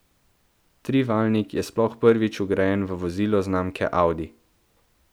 Trivaljnik je sploh prvič vgrajen v vozilo znamke Audi.